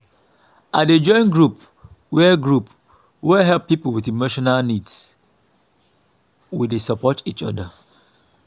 i dey join group wey group wey help people with emotional needs we dey support each other.